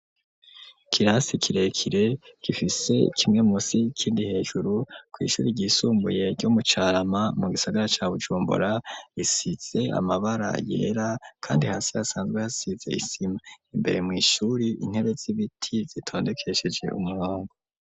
Ikirasi kirekire gifise kimwe musi ikindi hejuru kw'ishuri ryisumbuye ryo mu Carama mu gisagara ca Bujumbora risize amabara yera kandi hasi hasanzwe hasize isima imbere mw'ishuri intebe z'ibiti zitondekesheje umurongo.